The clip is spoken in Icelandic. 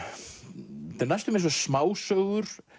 næstum eins og smásögur